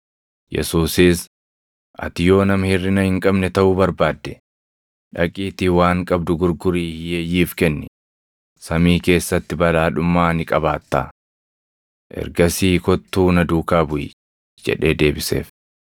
Yesuusis, “Ati yoo nama hirʼina hin qabne taʼuu barbaadde, dhaqiitii waan qabdu gurgurii hiyyeeyyiif kenni; samii keessatti badhaadhummaa ni qabaattaa. Ergasii kottuu na duukaa buʼi” jedhee deebiseef.